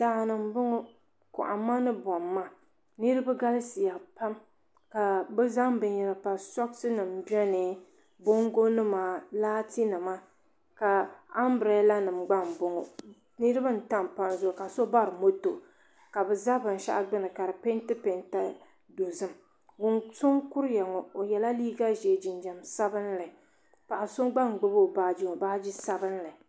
Daani m boŋɔ kohamma ni bomma niriba galisiya pam ka bɛ zaŋ binyera pa soksi nima biɛni bongo nima laati nima ka ambrada nima gba mboŋɔ niriba n tam palli zuɣu ka so bari moto ka bɛ za binshaɣu gbini ka di penti penta dozim so n kuruya ŋɔ o yela liiga ʒee jinjiɛm sabinli paɣa so gba n gbibi o baaji ŋɔ baaji sabinli.